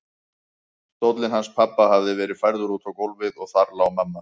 Stóllinn hans pabba hafði verið færður út á gólfið og þar lá mamma.